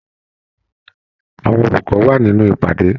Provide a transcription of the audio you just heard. Àwọn olùkọ wà nínú ìpàdé.